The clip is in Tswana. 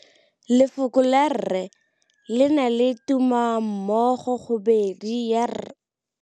Lefoko la rre le na le tumammogôpedi ya, r.